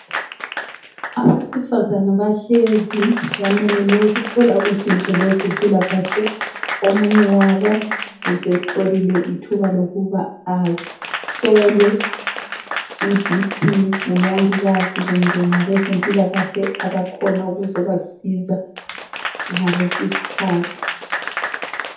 Abesifazana bahlezi bamelele ukuthola usizo lwezempilakahle , omunye wabo usetholile ithuba lokuba ahlolwe I BP ngumongikazi kumbe abezempilakahle abakhona ukuzobasiza ngalesi iskhathi